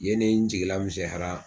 Yen ne n jigi lamisɛnyanra.